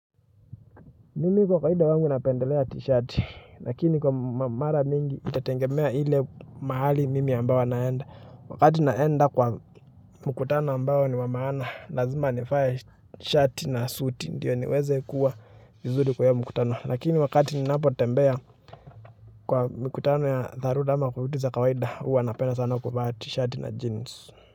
Mimi kwa kawaida wangu napendelea t-shirt, lakini kwa mara mingi itatengemea ile mahali mimi ambao naenda. Wakati naenda kwa mkutano ambao ni wamaana, lazima nivae shati na suti ndio niweze kuwa vizuri kwa hiyo mkutano. Lakini wakati ninapo tembea kwa mkutano ya dharura ama vitu za kawaida huwa napenda sana kuvaa t-shirt na jeans.